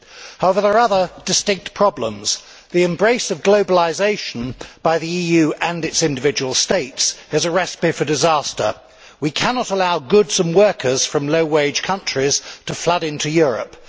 However, there are other distinct problems. The embrace of globalisation by the EU and its individual Member States is a recipe for disaster. We cannot allow goods and workers from low wage countries to flood into Europe.